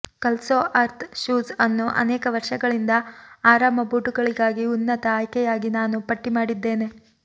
ಕಲ್ಸೋ earth shoes ಅನ್ನು ಅನೇಕ ವರ್ಷಗಳಿಂದ ಆರಾಮ ಬೂಟುಗಳಿಗಾಗಿ ಉನ್ನತ ಆಯ್ಕೆಯಾಗಿ ನಾನು ಪಟ್ಟಿ ಮಾಡಿದ್ದೇನೆ